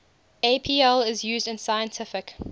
apl is used in scientific